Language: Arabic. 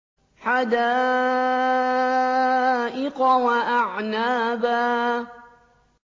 حَدَائِقَ وَأَعْنَابًا